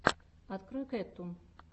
открой кэттун